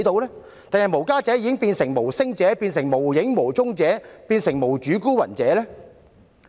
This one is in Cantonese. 抑或無家者已變成"無聲者"、"無影無蹤者"或"無主孤魂"？